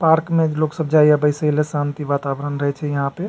Park में लोग सब जाइए आइये सब ले शांति वातावरण रही छै यहाँ पे।